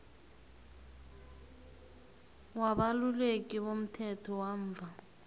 wabaluleki bomthetho bamva